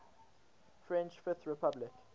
french fifth republic